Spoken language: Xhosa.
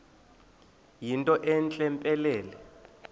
yinto entle mpelele